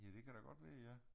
Ja det kan da godt være ja